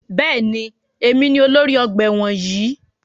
Bẹ́ẹ̀ni, èmi ni olórí ọgbà ẹ̀wọ̀n yìí.